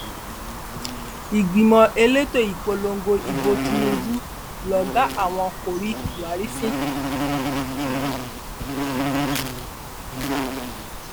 ìgbìmọ elétò ìpolongo ìbò tìǹbù lọgàá àwọn kò rí buhari fín